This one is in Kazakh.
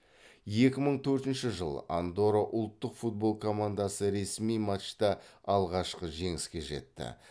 екі мың төртінші андорра ұлттық футбол командасы ресми матчта алғашқы жеңіске жетті